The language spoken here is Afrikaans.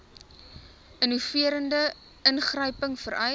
innoverende ingryping vereis